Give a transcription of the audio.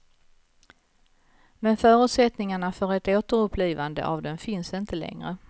Men förutsättningarna för ett återupplivande av den finns inte längre.